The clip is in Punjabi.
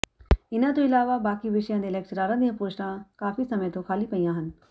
ਇਨ੍ਹਾਂ ਤੋਂ ਇਲਾਵਾ ਬਾਕੀ ਵਿਸ਼ਿਆਂ ਦੇ ਲੈਕਚਰਾਰਾਂ ਦੀਆਂ ਪੋਸਟਾਂ ਕਾਫੀ ਸਮੇਂ ਤੋਂ ਖਾਲੀ ਪਈਆਂ ਹਨ